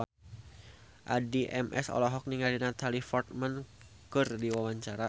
Addie MS olohok ningali Natalie Portman keur diwawancara